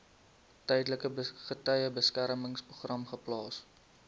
tydelike getuiebeskermingsprogram geplaas